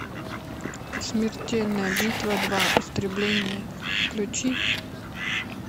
смертельная битва два истребление включи